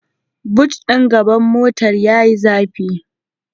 Bot din gaban motar yayi zafi